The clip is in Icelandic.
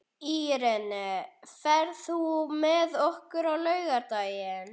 Irene, ferð þú með okkur á laugardaginn?